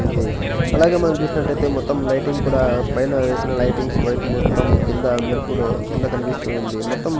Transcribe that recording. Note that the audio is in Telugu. ఉంది అలాగే మనం చూసినట్టయితే మొత్తం లైటింగ్ కూడా పైన వేసిన లైటింగ్స్ వైట్ మొత్తం కింద మెరుపులో కింద కనిపిస్తూ ఉంది మొత్తం--